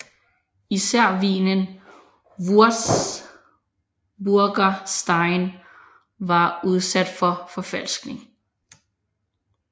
Især vinen Würzburger Stein var udsat for forfalskning